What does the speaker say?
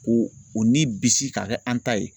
Ko o ni bisi k'a kɛ an ta ye